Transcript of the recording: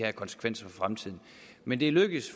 af konsekvenser for fremtiden men det er lykkedes